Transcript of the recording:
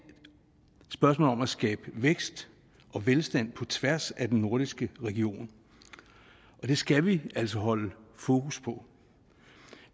spørgsmål om at skabe vækst og velstand på tværs af den nordiske region og det skal vi altså holde fokus på